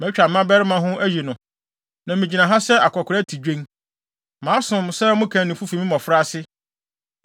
Matwa me mmabarima ho ayi no, na migyina ha sɛ akwakoraa tidwen. Masom sɛ mo kannifo fi me mmofraase.